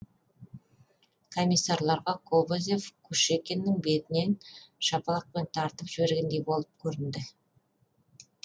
комиссарларға кобозев кушекиннің бетінен шапалақпен тартып жібергендей болып көрінді